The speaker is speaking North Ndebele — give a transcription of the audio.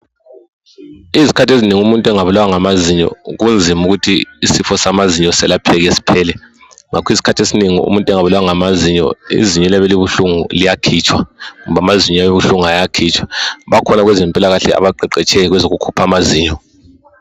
Izikhathi ezinengi umuntu engabulawa ngamazinyo, kunzima ukuthi isifo samazinyo selapheke sphele. Iskhathi esinengi umuntu engabulawa ngamazinyo, izinyo eliyabe libuhlungu liyakhitshwa kumbe amazinyo ayabe ebuhlungu ayakhitshwa. Bakhona abezempilakahle abaqeqetshileyo kwezokukhupha amazinyo.